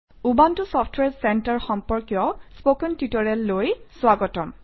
Ubuntu software centre সম্পৰ্কীয় spoken টিউটৰিয়েললৈ স্বাগতম